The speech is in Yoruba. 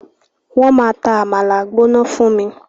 Wọ́n máa ta àmàlà gbóná fún mi.